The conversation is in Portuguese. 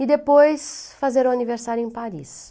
E depois fazer o aniversário em Paris.